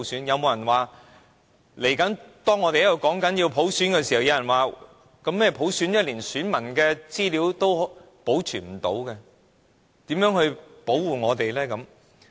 有沒有人會在大家都想要普選時，說連選民資料都保存不了，如何保護大家？